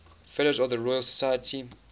fellows of the royal society